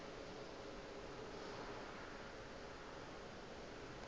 ke be ke se ka